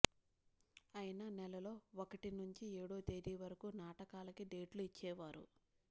అయినా నెలలో ఒకటి నుంచి ఏడో తేదీ వరకూ నాటకాలకే డేట్లు ఇచ్చేవారు